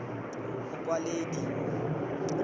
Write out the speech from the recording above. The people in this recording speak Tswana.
mokwaledi